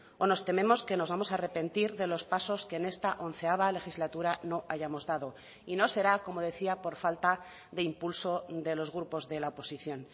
o nos tememos que nos vamos a arrepentir de los pasos que en esta onceava legislatura no hayamos dado y no será como decía por falta de impulso de los grupos de la oposición